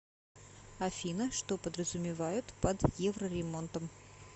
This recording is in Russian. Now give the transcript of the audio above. афина что подразумевают под евроремонтом